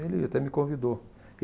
Ele até me convidou.